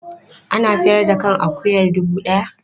Ana sayar da kan akuyar dubu ɗaya.